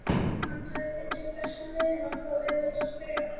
Hann hafði fundið bestu leiðina og þá auðveldustu fyrir alla.